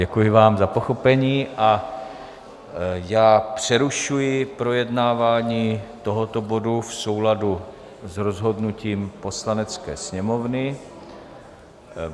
Děkuji vám za pochopení a já přerušuji projednávání tohoto bodu v souladu s rozhodnutím Poslanecké sněmovny.